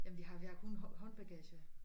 Ja men vi har vi har kun hånd håndbagage